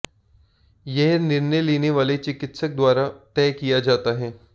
यह निर्णय लेने वाले चिकित्सक द्वारा तय किया जाता है